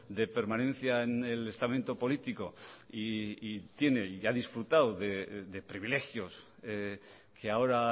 de permanencia en el estamento político y tiene y ha disfrutado de privilegios que ahora